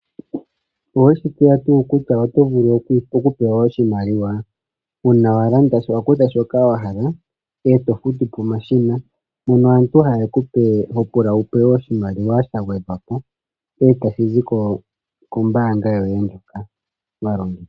Oweshi tseya tuu kutya oto vulu oku pewa oshimaliwa, uuna wa kutha shoka wahala, eto futu pomashina, mpoka ho pula wupewe oshimaliwa sha gwedhwapo etashi zi kombanga yoye ndjoka wa longitha.